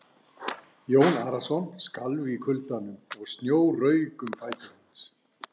Jón Arason skalf í kuldanum og snjór rauk um fætur hans.